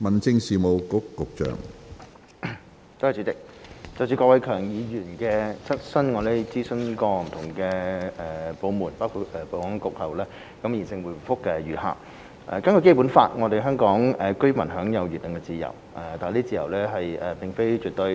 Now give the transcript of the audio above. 主席，就郭偉强議員的質詢，我們經諮詢不同部門包括保安局後，現答覆如下：根據《基本法》，香港居民享有言論自由，但這自由並非絕對。